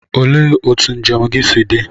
Olee otú njem gị si dị?